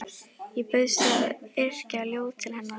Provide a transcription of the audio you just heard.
Ég bauðst til að yrkja ljóð til hennar.